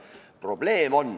Probleem on.